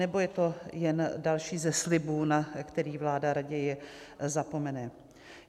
Nebo je to jen další ze slibů, na který vláda raději zapomene?